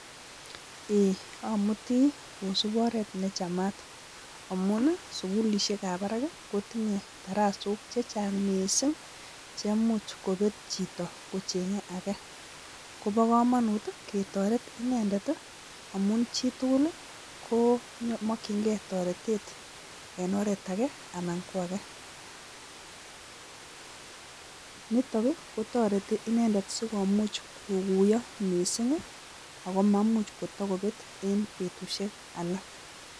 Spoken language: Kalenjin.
Amuti kosup oret ne chamat amuu sukulishek ab barak ko inye tarasok che chang mising che imuch ko bet chito kochenge, kobo kamanut ke toret inendet amuu chitug ko makchingei toretet en oret age, nitok ko toreti inendet kokumuch koguiyo mising ako ma bet en betusyek alak